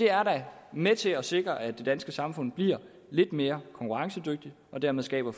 er da med til at sikre at det danske samfund bliver lidt mere konkurrencedygtigt og dermed skabe